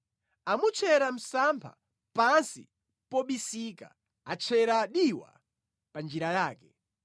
Amutchera msampha pansi mobisika; atchera diwa pa njira yake.